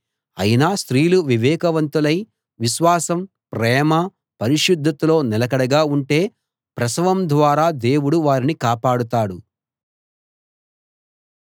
అయినా స్త్రీలు వివేకవతులై విశ్వాసం ప్రేమ పరిశుద్ధతల్లో నిలకడగా ఉంటే ప్రసవం ద్వారా దేవుడు వారిని కాపాడతాడు